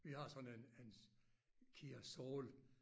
Vi har sådan en en KIA Soul